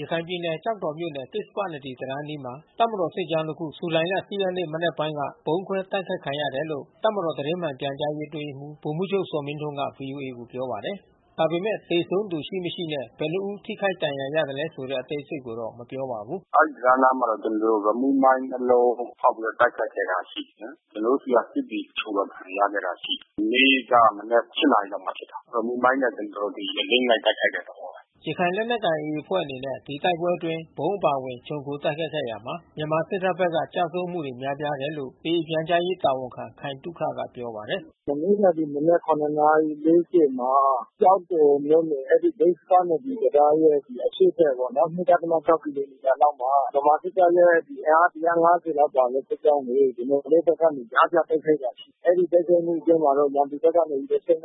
ရခိုင်ပြည်နယ် ကျောက်တော်မြို့နယ် ကစ္ဆပနဒီတံတားအနီးမှာ တပ်မတော် စစ်ကြောင်းတခု ဇူလိုင် ၈ ရက်နေ့ မနက်ပိုင်း က ဗုံးခွဲ တိုက်ခိုက် ခံခဲ့ရတယ်လို့ တပ်မတော်သတင်းမှန်ပြန်ကြားရေး အတွင်းရေးမှူး ဗိုလ်မှူးချုပ်ဇော်မင်းထွန်းက ဗွီအိုအေကို ပြောပါတယ်။ ဒါပေမယ့် သေဆုံးသူရှိ၊ မရှိနဲ့ ဘယ်နှစ်ဦး ထိခိုက် ဒဏ်ရာရသလဲဆိုတဲ့ အသေးစိတ်ကိုတော့ မပြောပါဘူး။ “အဲဒီ တံတားအနားမှာတော့ ကျနော်တို့ ရီမုမိုင်း နှစ်လုံး ဖေါက်ပြီးတော့ တိုက်ခိုက်ခဲ့တာ ရှိတယ်။ ကျနော်တို့ဆီက စစ်သည် တချို့ဒဏ်ရာ ရခဲ့တာ ရှိတယ်။ မနေ့က မနက် ၈ နာရီလောက်မှာ ဖြစ်တာ။ ရီမုမိုင်းနဲ့ ကျနော်တို့ကို အလစ်ငိုက် တိုက်ခိုက်တဲ့ သဘောပါ။” ရခိုင်လက်နက်ကိုင် AA အဖွဲ့အနေနဲ့ ဒီတိုက်ပွဲအတွင်း ဗုံးအပါအဝင် ခြုံခို တိုက်ခိုက်ခဲ့ရာမှာ မြန်မာစစ်တပ်ဘက်က ကျဆုံးမှုတွေ များပြားတယ်လို့ AA ပြန်ကြားရေးတာဝန်ခံ ခိုင်သုခက ပြောပါတယ်။ “မနေ့က မနက် ၇ နာရီ ၄၀ မှာ ကျောက်တော်မြို့နယ် အဲဒီကစ္ဆပနဒီ တံတားရဲ့ အရှေ့ဘက်ပေါ့။ ၂.၆ ကီလိုမီတာအကွာလောက်မှာ ဗမာစစ်တပ်ရဲ့ အင်အား ၁၅၀ ပါတဲ့ စစ်ကြောင်းကို ကျနော်တို့ဘက်ကနေ ကြားဖြတ်တိုက်ခိုက်တာ ရှိတယ်။ အဲဒီ တိုက်ခိုက်မှုအတွင်းမှာတော့ ရန်သူဘက်ကနေ ၁၅ ဦးထက် မ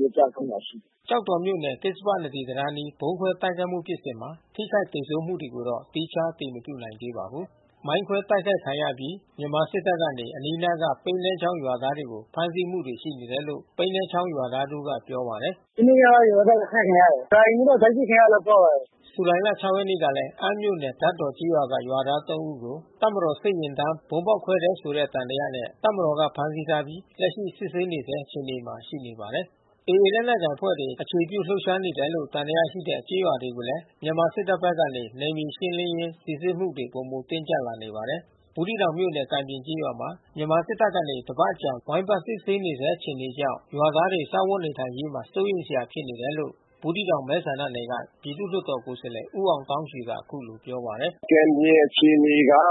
နည်းကျဆုံးတာ ရှိတယ်။” ကျောက်တော်မြို့နယ် ကစ္ဆပနဒီတံတားအနီး ဗုံးခွဲတိုက်ခိုက်မှု ဖြစ်စဉ်မှာ ထိခိုက် သေဆုံးမှုတွေကိုတော့ သီးခြား အတည်မပြုနိုင်သေးပါဘူး။ မိုင်းခွဲတိုက်ခိုက်ခံရအပြီး မြန်မာစစ်တပ်ကနေ အနီးနားက ပိနဲ္နချောင်းရွာသားတွေကို ဖမ်းဆီးမှုတွေ ရှိနေတယ်လို့ ပိနဲ္နချောင်းရွာသား တဦးက ပြောပါတယ်။ "မနေ့က ရွာသားတွေ အဖမ်းခံရတယ်။ ရာအိမ်မှူးတော့ အဖမ်းဆီးခံရတယ်လို့တော့ ပြောတယ်။" ဇူလိုင် ၆ ရက်နေ့ကလည်း အမ်းမြို့နယ် ဓါတ်တော်ကျေးရွာက ရွာသား သုံး ဦးကို တပ်မတော် စစ်ယာဉ်တန်း ဗုံးဖေါက် ခွဲတယ်ဆိုတဲ့ သံသယနဲ့ တပ်မတော်က ဖမ်းဆီးထားပြီး လက်ရှိ စစ်ဆေးနေဆဲ အခြေအနေမှာ ရှိပါတယ်။ AA လက်နက်ကိုင်အဖွဲ့တွေ အခြေပြုလှုပ်ရှားနေတယ်လို့ သံသယရှိတဲ့ ကျေးရွာတွေကိုလည်း မြန်မာစစ်တပ်ဘက်ကနေ နယ်မြေရှင်းလင်းရင်း စိစစ်မှုတွေ ပိုမို တင်းကြပ်လာနေပါတယ်။ ဘူးသီးတောင်မြို့နယ် ကံပြင်ကျေးရွာမှာ မြန်မာစစ်တပ်ကနေ တပတ်အကြာ ဝိုင်းပတ်စစ်ဆေးနေဆဲ အခြေအနေကြောင့် ရွာသားတွေ စားဝတ်နေထိုင်ရေးမှာ စိုးရိမ်စရာ ဖြစ်နေတယ်လို့ ဘူးသီးတောင်မဲဆန္ဒနယ်က ပြည်သူ့လွှတ်တော် ကိုယ်စားလှယ် ဦးအောင်သောင်းရွှေက အခုလိုပြောပါတယ်။ "ကံပြင် အခြေအနေက ရွာ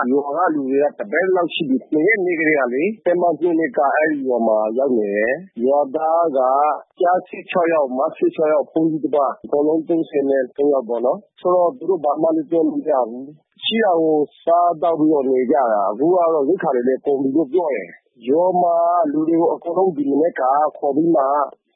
ကလူတွေ တပတ်လောက်ရှိပြီ။ ၂ ရက် နေ့ကတည်းကလေ။ တပ်မ ၂၂ က အဲဒီရွာမှာ ရောက်နေတယ်။ ရွာသားက ကျား ၁၆ ယောက်၊ မ ၁၆ ယောက်၊ ဘုန်းကြီးတပါး။ အကုန်လုံး ၃၃ ယောက်ပေါ့နော်။ သူတို့ဘယ်မှလဲ သွားလို့ မရဘူး။ ရှိတာကို စားသောက်ပြီး နေကြတာ အခုကတော့ ရိက္ခာတွေလည်း ကုန်ပြီလို့ ပြောတယ်။ ရွာမှာ လူတွေကို အကုန်လုံး ဒီမနက်မှာ ခေါ်ပြီးမှ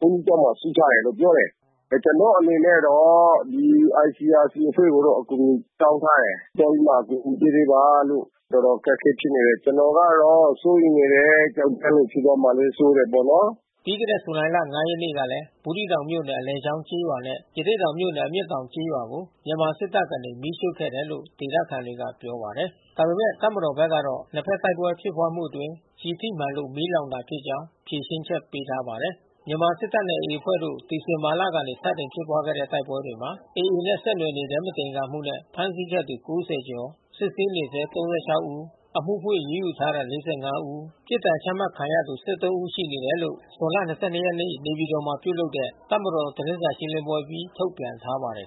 ဘုန်းကြီးကျောင်းမှာ စုထားတယ်လို့ ပြောတယ်။ ကျနော်အနေနဲ့တော့ ဒီ ICRC အဖွဲ့ကိုတော့ အကူညီတောင်းထားတယ်။ သွားပြီးမှ အကူညီပေး ပေးပါလို့။ တော်တော်အခက်ခဲ ဖြစ်နေတယ်။ ကျနော်ကတော့ စိုးရိမ်နေတယ်။ ကျောက်တန်းမှာ ဖြစ်သွားမှာကို စိုးတယ်ပေါ့နော်။" ပြီးခဲ့တဲ့ ဇူလိုင်လ ၅ ရက်နေ့ကလည်း ဘူးသီးတောင်မြို့နယ် အလယ်ချောင်းကျေးရွာနဲ့ ရသေ့တောင်မြို့နယ် အမျက်တောင်ကျေးရွာကို မြန်မာစစ်တပ်ကနေ မီးရှို့ခဲ့တယ်လို့ ဒေသခံတွေက ေြ့ပာပါတယ်။ ဒါပေမဲ့တပ်မတော်ဘက်ကတော့ နှစ်ဘက် တိုက်ပွဲဖြစ်ပွားမှုအတွင်း ကျည်ထိမှန်လို့ မီးလောင်တာဖြစ်ကြောင်း ဖြေရှင်းချက် ပေးထားပါတယ်။ မြန်မာစစ်တပ်နဲ့ AA အဖွဲ့တို့ ဒီဇင်ဘာလကနေ စတင်ဖြစ်ပွားခဲ့တဲ့ တိုက်ပွဲတွေမှာ AA နဲ့ ဆက်နွယ်နေတယ်.... မသင်္ကာမှုနဲ့ ဖမ်းဆီးခဲ့သူ ၉၀ ကျော်၊ စစ်ဆေးဆဲ ၃၆ ဦး၊ အမှုဖွင့်အရေးယူထားသူ ၄၅ ဦး၊ ပြစ်ဒဏ်ချ မှတ်ခံရသူ သုံး ဦး ရှိနေတယ်လို့ ဇွန်လ ၂၂ ရက်နေ့နေပြည်တော်မှာ ပြုလုပ်တဲ့ တပ်မတော်ရဲ့ သတင်းစာ ရှင်းလင်းပွဲအပြီးမှာ ထုတ်ပြန်ထားပါတယ်